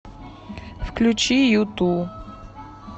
включи юту